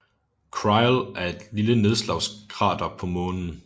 Crile er et lille nedslagskrater på Månen